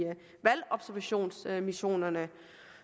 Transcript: valgobservationsmissionerne